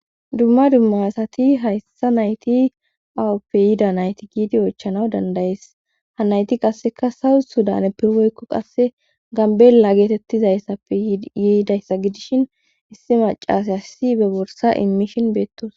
Dumma dumma asati hayssa nayti awoppe yida nayti giidi oychanaw dandayees ha nayti qasseka sawu sudane pirweykko qasse gambela geetettizayssappe yiidayssa gidishin issi macas hassi be borsa immishin beettos.